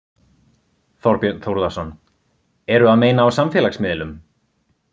Þorbjörn Þórðarson: Eru að meina á samfélagsmiðlum?